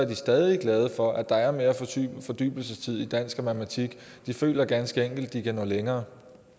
de stadig glade for at der er mere fordybelsestid i dansk og matematik de føler ganske enkelt at de kan nå længere